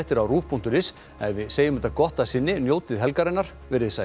á rúv punktur is en við segjum þetta gott að sinni njótið helgarinnar verið þið sæl